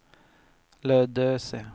Lödöse